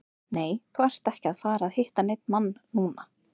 Nei, þú ert ekki að fara að hitta neinn mann núna.